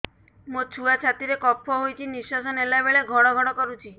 ମୋ ଛୁଆ ଛାତି ରେ କଫ ହୋଇଛି ନିଶ୍ୱାସ ନେଲା ବେଳେ ଘଡ ଘଡ କରୁଛି